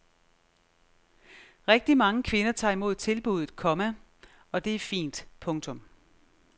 Rigtig mange kvinder tager imod tilbuddet, komma og det er fint. punktum